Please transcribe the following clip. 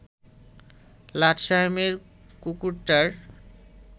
লাট সায়েবের কুকুরটার